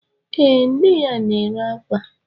Ee, nne ya na-ere akwa